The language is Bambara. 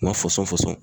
Ma fɔsɔn fɔsɔn